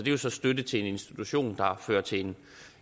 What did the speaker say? jo så støtte til en institution der fører til